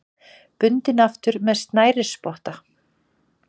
Bundinn aftur með snærisspotta.